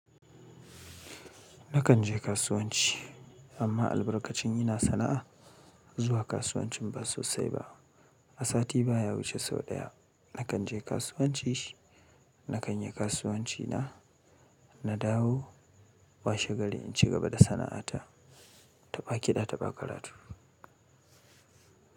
Nakan je kasuwanci amma albarkacin ina sana'a zuwa kasuwancin ba sosai ba. A sati baya wuce sau ɗaya nakan je kasuwanci. Nakan yi kasuwanci na, na dawo, washe gari, in ci gaba da sana'ata Taba kiɗa taba karatu.